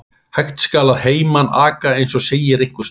Hægt skal að heiman aka, eins og segir einhvers staðar.